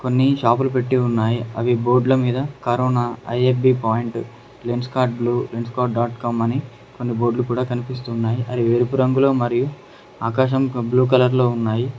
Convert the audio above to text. కొన్ని షాపులు పెట్టి ఉన్నాయి అవి బోర్డ్ల మీద corona I F B point Lenskart blue Lenskart dot com అని కొన్ని బోర్డ్లు కూడా కనిపిస్తున్నాయి అవి వెరుపు రంగులో మరియు ఆకాశం ఒక బ్లూ కలర్ లో ఉన్నాయి.